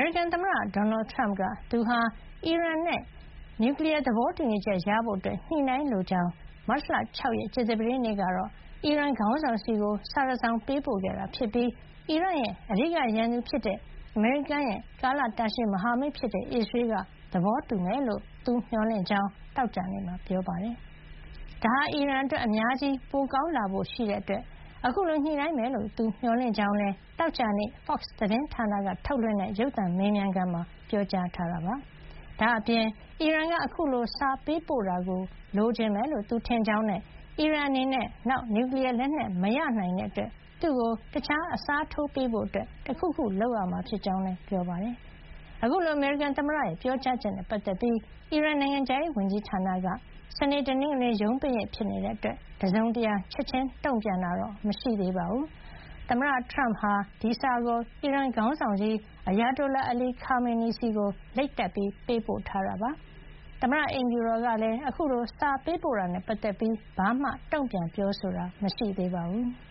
ရိကန်သမ္မတ ဒေါ်နယ်ထရမ့်က သူဟာ အီရန်နဲ့ နျူကလီယား သဘောတူညီချက်ရဖို့ ညှိနှိုင်း လိုကြောင်းနဲ့ မတ်လ ၆ ရက် ကြာသပတေးနေ့ကတော့ အီရန်ခေါင်းဆောင်ဆီကို စာတစောင် ပေးပို့ခဲ့တာဖြစ်ပြီး အီရန်ရဲ့ အဓိကရန်သူဖြစ်တဲ့ အမေရိကန်ရဲ့ ကာလတာရှည် မဟာမိတ်ဖြစ်တဲ့ အစ္စရေးက သဘောတူမယ်လို့ မျှော်လင့်ကြောင်း သောကြာနေ့မှာ ပြောပါတယ်။ ဒါဟာ အီရန်အတွက် အများကြီး ပိုကောင်းလာဖို့ ရှိတာကြောင့် အခုလို ညှိနှိုင်းမယ်လို့ သူမျှော်လင့်ကြောင်းလည်း သောကြာနေ့ Fox သတင်းဌာနက ထုတ်လွှင့်တဲ့ ရုပ်သံမေးမြန်းခန်းမှာ ပြောပါတယ်။ ဒါ့အပြင် အီရန်က အခုလို စာပေးပို့တာကို လိုချင်မယ်လို့ သူထင်ကြောင်းနဲ့ အီရန်အနေနဲ့ နောက် နျူကလီယားလက်နက် မရနိုင်တဲ့အတွက် သူ့ကိုတခြားအစားထိုးပေးဖို့ တခုခု လုပ်ရမှာ ဖြစ်ကြောင်းလည်း ပြောပါတယ်။ အခုလို အမေရိကန်သမ္မတရဲ့ ပြောကြားချက်နဲ့ပတ်သက်ပြီး အီရန်နိုင်ငံခြားရေးဝန်ကြီးဌာနက စနေ၊ တနင်္ဂနွေ ရုံးပိတ်ရက် ဖြစ်နေတာကြောင့် တစုံတရာ ချက်ချင်း တုံ့ပြန်တာ မရှိသေးပါဘူး။ သမ္မတထရမ့်က အီရန်ခေါင်းဆောင်ကြီး Ayatollah Ali Khamenei ဆီ လိပ်စာတပ် ပေးပို့ထားတာဖြစ်ပြီး သမ္မတအိမ်ဖြူတော်ကလည်း အခုလို စာပေးပို့တာနဲ့ ပတ်သက်လို့ ဘာမှ တုံ့ပြန်ပြောဆိုတာ မရှိသေးပါဘူး။